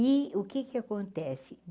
E o que que acontece?